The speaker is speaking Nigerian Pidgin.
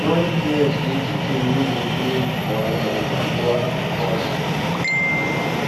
you don hear sey chicken wey dem bring from um abroad dey cost